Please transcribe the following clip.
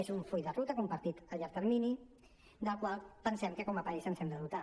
és un full de ruta compartit a llarg termini del qual pensem que com a país ens n’hem de dotar